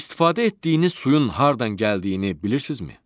İstifadə etdiyiniz suyun hardan gəldiyini bilirsizmi?